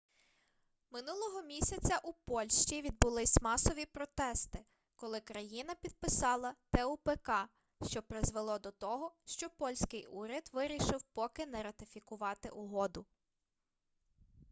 минулого місяця у польщі відбулись масові протести коли країна підписала тупк що призвело до того що польський уряд вирішив поки що не ратифікувати угоду